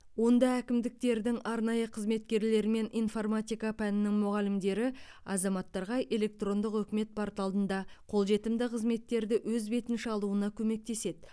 онда әкімдіктердің арнайы қызметкерлері мен информатика пәнінің мұғалімдері азаматтарға электрондық үкімет порталында қолжетімді қызметтерді өз бетінше алуына көмектеседі